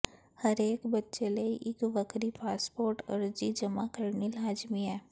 ਹਰੇਕ ਬੱਚੇ ਲਈ ਇੱਕ ਵੱਖਰੀ ਪਾਸਪੋਰਟ ਅਰਜ਼ੀ ਜਮ੍ਹਾਂ ਕਰਨੀ ਲਾਜ਼ਮੀ ਹੈ